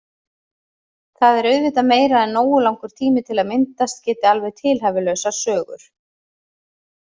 Það er auðvitað meira en nógu langur tími til að myndast geti alveg tilhæfulausar sögur.